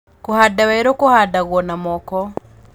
Kũhanda werũ kuhandagwo na moko